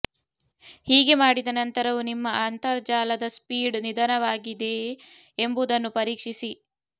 ಹೀಗೆ ಮಾಡಿದ ನಂತರವೂ ನಿಮ್ಮ ಅಂತರ್ಜಾಲದ ಸ್ಪೀಡ್ ನಿಧಾನವಾಗಿದೆಯೇ ಎಂಬುದನ್ನು ಪರೀಕ್ಷಿಸಿ